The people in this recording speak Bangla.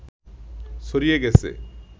ছাড়িয়ে গেছে